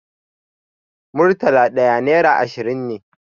Murtala ɗaya nera ashirin ne.